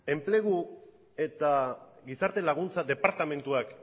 enplegu eta gizarte laguntza departamentuak